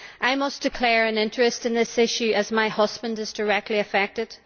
I must declare an interest in this issue as my husband is directly affected.